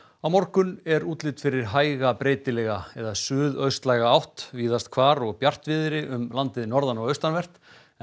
á morgun er útlit fyrir hæga breytilega eða suðaustlæga átt víðast hvar og bjartviðri um landið norðan og austanvert en